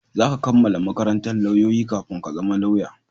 Za ka kammala makarantan lauyoyi kafin ka zama lauya